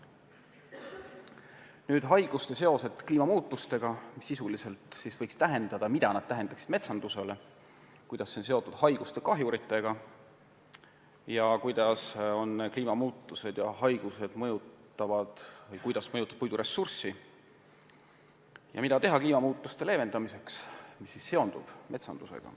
Käsitlen järgmisi teemasid: mida kliimamuutused sisuliselt tähendavad metsandusele; kuidas kliimamuutused on haiguste ja kahjuritega seotud; kuidas haigused puiduressurssi mõjutavad; mida teha kliimamuutuste leevendamiseks ja kuidas see seondub metsandusega.